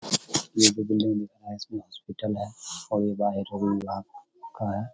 ये हॉस्पिटल है और ये बाहर है।